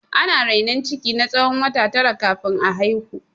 Ana rainon ciki na tsawon wata tara kafin a haihu.